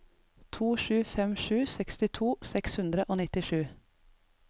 to sju fem sju sekstito seks hundre og nittisju